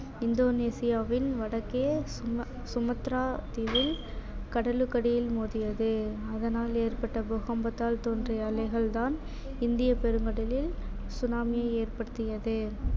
இந்தோனேசியாவின் வடக்கே சுமத்ரா தீவில் கடலுக்கடியில் மோதியது அதனால் ஏற்பட்ட பூகம்பத்தால் தோன்றிய அலைகள்தான் இந்தியப் பெருங்கடலில் tsunami யை ஏற்படுத்தியது